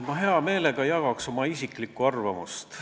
Ma hea meelega jagaks oma isiklikku arvamust.